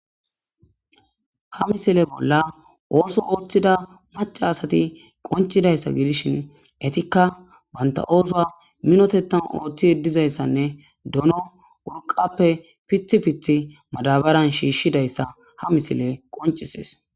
ha misile bolla ooso ooththida maca asati qoncidayssa gidishin etikka banta oosuwa minotetan ooththi yeddizayssanne dono wurqappe pith pithi madabaran shiishshidayssa ha misile qoncisees